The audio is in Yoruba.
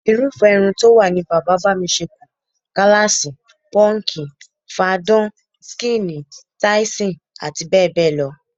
Irúfé̩ irun tó wà ni bàbá-bá-mi-s̩é̩-e̩-kù, gáláàsì, pó̩ǹkì, fadán/skíìnì, táísìn, abbl.